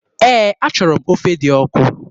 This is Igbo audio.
Ee, achọrọ m ofe dị ọkụ.